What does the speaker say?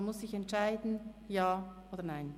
Man muss sich entscheiden – Ja oder Nein.